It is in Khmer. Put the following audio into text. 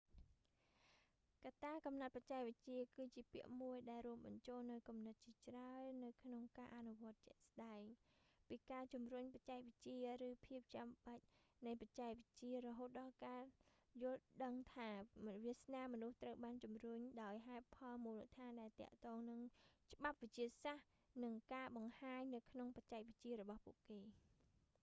កត្ដាកំណត់បច្ចេកវិទ្យាគឺជាពាក្យមួយដែលរួមបញ្ចូលនូវគំនិតជាច្រើននៅក្នុងការអនុវត្តជាក់ស្តែង ពីការជំរុញបច្ចេកវិទ្យាឬភាពចាំបាច់នៃបច្ចេកវិទ្យារហូតដល់ការយល់ដឹងថា វាសនាមនុស្សត្រូវបានជំរុញដោយហេតុផលមូលដ្ឋានដែលទាក់ទងនឹងច្បាប់វិទ្យាសាស្ត្រនិងការបង្ហាញនៅក្នុងបច្ចេកវិទ្យារបស់ពួកគេ